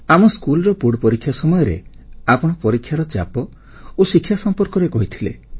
ଆମ ସ୍କୁଲର ବୋର୍ଡ଼ ପରୀକ୍ଷା ସମୟରେ ଆପଣ ପରୀକ୍ଷାର ଚାପ ଓ ଶିକ୍ଷା ସମ୍ପର୍କରେ କହିଥିଲେ